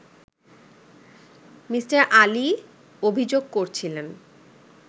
Me. Ali অভিযোগ করছিলেন